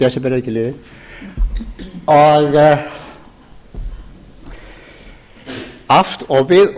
ríkisstjórn í hálft ár desember er ekki liðinn og við